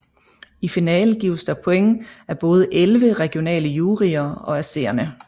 I finalen gives der point af både 11 regionale juryer og af seerne